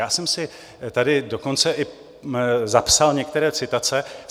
Já jsem si tady dokonce i zapsal některé citace.